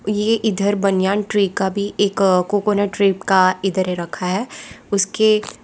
ये इधर banyan tree का भी एक कोकोनट ट्रिप का इधर रखा है उसके --